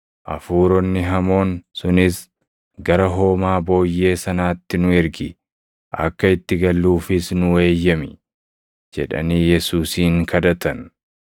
Hafuuronni hamoon sunis, “Gara hoomaa booyyee sanaatti nu ergi; akka itti galluufis nuu eeyyami” jedhanii Yesuusin kadhatan.